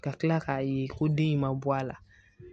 Ka kila k'a ye ko den in ma bɔ a la